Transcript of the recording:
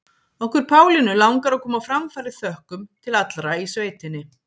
Okkur Pálínu langar að koma á framfæri þökkum til allra í sveitinni.